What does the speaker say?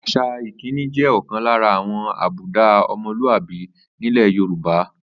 Às̩à ìkíni jè̩ ò̩kan lára àwo̩n àbúdá o̩mo̩lúàbí nílè̩ Yorùbá